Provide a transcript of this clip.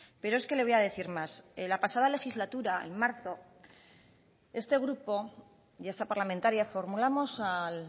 pero es que le voy a decir más la pasada legislatura en marzo este grupo y esta parlamentaria formulamos al